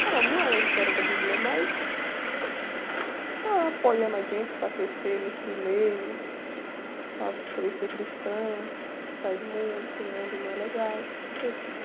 Falar, não é uma história da Bíblia, é mais... Ela apoiando a gente para crescer nesse meio, para crescer cristã, sair do mundo, que o mundo não é legal, essas coisas assim.